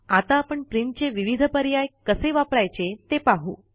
आता आपण प्रिंटचे विविध पर्याय कसे वापरायचे ते पाहू